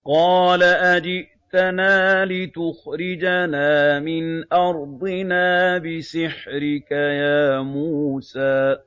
قَالَ أَجِئْتَنَا لِتُخْرِجَنَا مِنْ أَرْضِنَا بِسِحْرِكَ يَا مُوسَىٰ